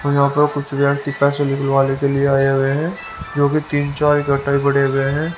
और यहां पर कुछ व्यक्ति पैसे निकलवाने के लिए आए हुए हैं जो कि तीन चार इकट्ठा ही बढ़े हुए हैं।